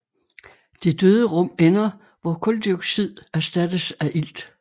Det døde rum ender hvor kuldioxid erstattes af ilt